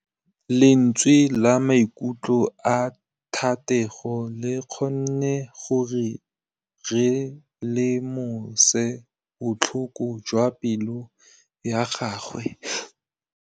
Lentswe la maikutlo a Thategô le kgonne gore re lemosa botlhoko jwa pelô ya gagwe.